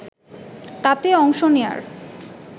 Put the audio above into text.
তাতে অংশ নেয়ার